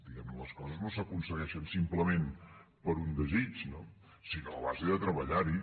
diguemne les coses no s’aconsegueixen simplement per un desig no sinó a base de treballar hi